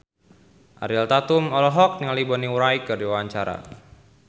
Ariel Tatum olohok ningali Bonnie Wright keur diwawancara